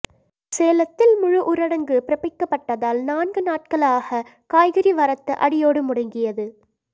சேலத்தில் முழு ஊரடங்கு பிறப்பிக்கப்பட்டதால் நான்கு நாள்களாக காய்கறி வரத்து அடியோடு முடங்கியது